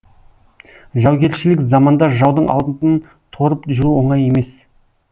жаугершілік заманда жаудың алдын торып жүру оңай емес